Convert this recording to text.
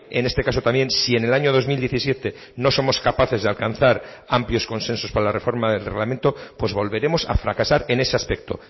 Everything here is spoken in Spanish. en este caso también si en el año dos mil diecisiete no somos capaces de alcanzar amplios consensos para la reforma del reglamento pues volveremos a fracasar en ese aspecto